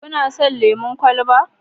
Kana son lemon kwalaba?